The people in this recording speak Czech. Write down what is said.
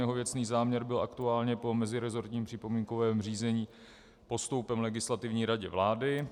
Jeho věcný záměr byl aktuálně po meziresortním připomínkovém řízení postoupen Legislativní radě vlády.